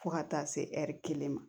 Fo ka taa se kelen ma